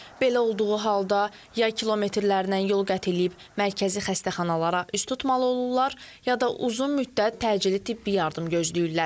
Belə olduğu halda ya kilometrlərdən yol qət eləyib mərkəzi xəstəxanalara üst tutmalı olurlar, ya da uzun müddət təcili tibbi yardım gözləyirlər.